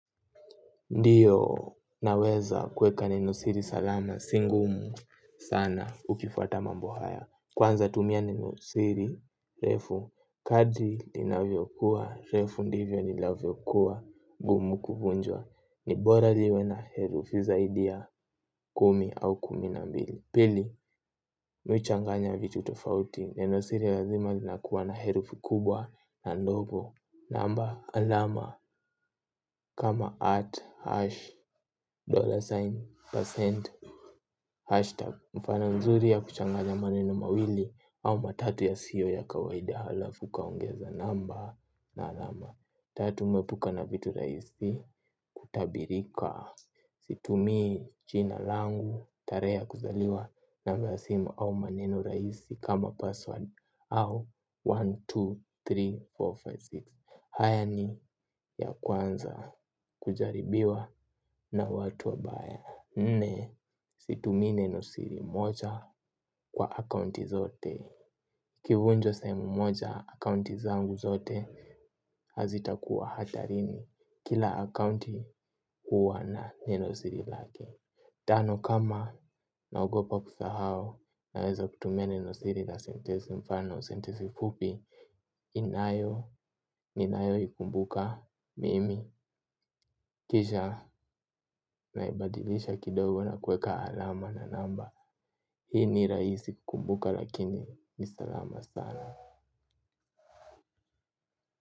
Ndiyo naweza kuweka neno siri salama, si ngumu sana ukifwata mambo haya. Kwanza tumia neno siri refu, kadri linavyo kuwa refu ndivyo linavyo kuwa ngumu kuvunjwa. Nibora liwe na herufu zaidi ya kumi au kumi na mbili. Pili, mi huchanganya vitu tofauti, neno siri lazima linakuwa na herufu kubwa na ndogo. Namba alama kama at hashi dollar sign percent hashi tagi, mfano mzuri yakuchanganya maneno mawili au matatu yasiyo ya kawaida halafu ukaongeza namba na alama, tatu epuka na vitu rahisi hutabirika situmii jina langu tarehe ya kuzaliwa namba ya simu au maneno rahisi kama password au laki moja na elfu ishirini na tatu na mia nne na hamsini na sita. Haya ni ya kwanza kujaribiwa na watu wabaya. Nne situmii neno siri moja kwa akaunti zote. Ikivunjwa sehemu moja akaunti zangu zote hazitakuwa hatarini. Kila akaunti huwa na neno siri lake. Tano, kama naogopa kusahau naweza kutumia neno siri la senitensi mfano senitensi fupi ninayo ikumbuka mimi kisha, naibadilisha kidogo na kuweka alama na namba. Hii ni rahisi kumbuka lakini ni salama sana.